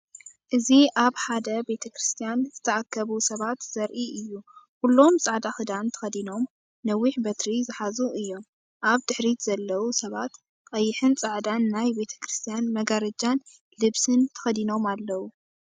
እዚ ኣብ ሓደ ቤተ ክርስቲያን ዝተኣከቡ ሰባት ዘርኢ እዩ። ኩሎም ጻዕዳ ክዳን ተኸዲኖም ነዊሕ በትሪ ዝሓዙ እዮም። ኣብ ድሕሪት ዘለዉ ሰባት ቀይሕን ጻዕዳን ናይ ቤተክርስትያን መጋረጃን ልብስን ተኸዲኖም ኣለዉ።